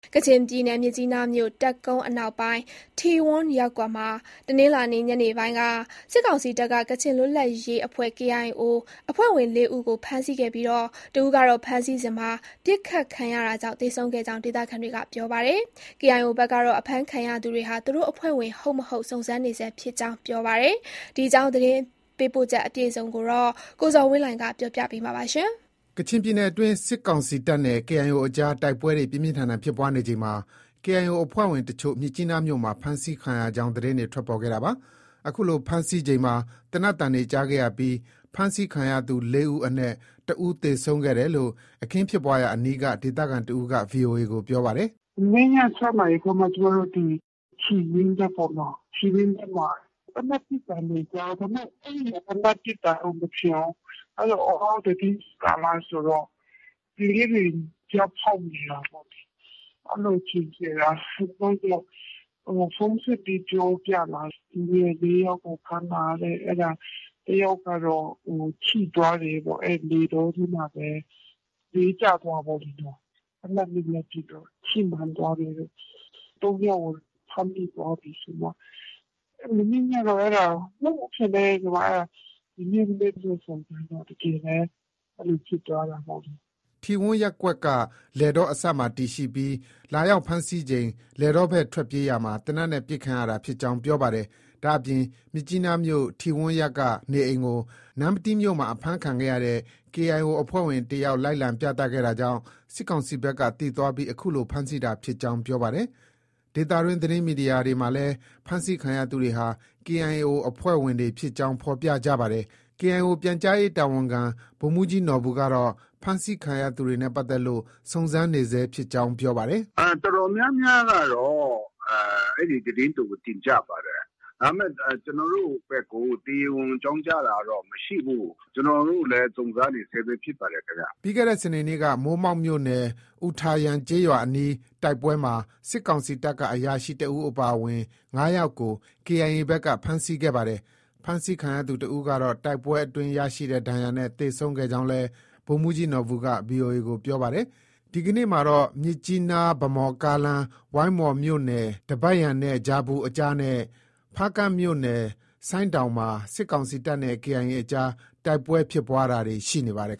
ကချင်ပြည်နယ် မြစ်ကြီးနားမြို့ တပ်ကုန်းအနောက်ပိုင်း ထီဝန်းရပ်ကွက်မှာ တနင်္လာနေ့ ညနေပိုင်းက စစ်ကောင်စီတပ်က ကချင်လွတ်လပ်ရေးအဖွဲ့ KIO အဖွဲ့ဝင် ၄ဦးကို ဖမ်းဆီးခဲ့ပြီး တဦးကတော့ ဖမ်းဆီးစဉ် ပစ်ခတ်ခံရတာကြောင့် သေဆုံးခဲ့ကြောင်း ဒေသခံတွေက ပြောပါတယ်။ KIO ဘက်ကတော့ အဖမ်းခံရသူတွေဟာ သူတို့ အဖွဲ့ဝင် ဟုတ်၊ မဟုတ် စုံစမ်းနေဆဲဖြစ်ကြောင်း ပြောပါတယ်။ ဒီအကြောင်း သတင်းပေးပို့ချက်ကို အခြေခံပြီး ကိုဇော်ဝင်းလှိုင်က တင်ပြထားပါတယ်။ ကချင်ပြည်နယ်အတွင်း စစ်ကောင်စီတပ်နဲ့ KIO အကြား တိုက်ပွဲတွေ ပြင်းပြင်းထန်ထန်ဖြစ်ပွားနေချိန်မှာ KIO အဖွဲ့ဝင်အချို့ မြစ်ကြီးနားမြို့မှာ ဖမ်းဆီးခံရကြောင်း သတင်းထွက်ပေါ်ခဲ့တာပါ။ ဒီလို ဖမ်းဆီးချိန်မှာ သေနတ်သံတွေကြားခဲ့ရပြီး ဖမ်းဆီးခံရသူ ၄ဦးအနက် တဦး သေဆုံးခဲ့တယ်လို့ အခင်းဖြစ်ပွားရာအနီးက ဒေသခံတစ်ဦးက VOA ကို ပြောပါတယ်။ “ မနေ့ည ၆နာရီခွဲမှာ ကျမတို့ ဒီ ထီဝန်းရပ်ပေ့ါနော။ အဲဒီထီဝန်းထဲမှာ သေနတ်ပစ်သံတွေ ကြားတာ။ ဒါပေမဲ့ သေနတ်ပစ်သံလို့ မထင်ဘူး။ အော် သီတင်းကျွတ်ကာလဆိုတော့ ကလေးတွေ ဗျောက်ဖောက်နေတာပေါ့။ အဲလို ထင်ခဲ့တာ။ နောက်တော့ ဖုန်းဆက်ပြီး ပြောပြလာတာ။ လူငယ် ၄ယောက်ကို ဖမ်းတာတဲ့။ အဲဒါ တယောက်ကတော့ ထိသွားတယ်ပေါ့။ လယ်တောထဲမှာပဲ လဲကျသွားတာပေ့ါလေ နော။ သေနတ်တွေနဲ့ပစ်တော့ ထိမှန်သွားတယ်တဲ့။ ၃ယောက်ကို ဖမ်းမိသွားပြီ ဆိုပြီးတော့မှ။ မနေ့ညကတော့ အဲဒါ မဟုတ်ဘူး ထင်တယ်ပေါ့။ ဒီနေ့မနက်စုံစမ်းတော့ တကယ်ပဲ အဲလို ဖြစ်သွားတာ။ ” ထီဝန်းရပ်ကွက်က လယ်တောအစပ်မှာတည်ရှိပြီး လာရောက်ဖမ်းဆီးချိန် လယ်တောဘက် ထွက်ပြေးရာမှာ သေနတ်နဲ့ ပစ်ခံရတာဖြစ်ကြောင်းပြောပါတယ်။ ဒါ့အပြင် မြစ်ကြီးနားမြို့ ထီဝန်းရပ်က နေအိမ်ကို နမ္မတီးမြို့မှာ အဖမ်းခံခဲ့ရတဲ့ KIO အဖွဲ့ဝင် တယောက် လိုက်လံပြသခဲ့တာကြောင့် စစ်ကောင်စီဘက်က သိသွားပြီး အခုလို ဖမ်းဆီးတာဖြစ်ကြောင်း ပြောပါတယ်။ ဒေသတွင်း သတင်းမီဒီယာတွေမှာလည်း ဖမ်းဆီးခံရသူတွေဟာ KIO အဖွဲ့ဝင်တွေဖြစ်ကြောင်း ဖော်ပြကြပါတယ်။ KIO ပြန်ကြားရေးတာဝန်ခံ ဗိုလ်မှုးကြီးနော်ဘူကတော့ ဖမ်းဆီးခံရသူတွေနဲ့ ပတ်သက်လို့ စုံစမ်းနေဆဲဖြစ် ကြောင်း ပြောပါတယ်။ “ အတော်များများကတော့ အဲဒီသတင်းတွေကို တင်ကြပါတယ်။ ဒါပေမဲ့ ကျနော်တို့ဘက်ကို တရားဝင် အကြောင်းကြားတာတော့ မရှိဘူး။ ကျနော်တို့လည်း စုံစမ်းနေဆဲပဲ ဖြစ်ပါတယ် ခင်ဗျ။” ပြီးခဲ့တဲ့ စနေနေ့က မိုးမောက်မြို့နယ် အူထာယန်ကျေးရွာအနီး တိုက်ပွဲမှာ စစ်ကောင်စီတပ်က အရာရှိတဦးအပါအဝင် ၅ယောက်ကို KIA ဘက်က ဖမ်းဆီးခဲ့ပါတယ်။ ဖမ်းဆီးခံရသူတဦးကတော့ တိုက်ပွဲအတွင်း ရရှိတဲ့ ဒဏ်ရာနဲ့ သေဆုံးခဲ့ကြောင်းလည်း ဗိုလ်မှုးကြီးနော်ဘူက VOA ကို ပြောဆိုပါတယ်။ ဒီကနေ့မှာတော့ မြစ်ကြီးနား -ဗန်းမော်ကားလမ်း ဝိုင်းမော်မြို့နယ် ဒဘတ်ယန်နဲ့ ဂျာပူအကြားနဲ့ ဖားကန့်မြို့နယ် ဆိုင်းတောင်မှာ စစ်ကောင်စီတပ်နဲ့ KIA အကြား တိုက်ပွဲဖြစ်ပွားတာတွေ ရှိနေပါတယ်